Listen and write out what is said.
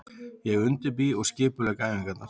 Ég undirbý og skipulegg æfingarnar.